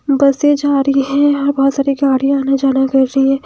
बसे जा रही हैं। यहां बहोत सारी गाड़ियां आना जाना कर रही हैं।